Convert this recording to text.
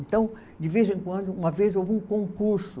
Então, de vez em quando, uma vez houve um concurso.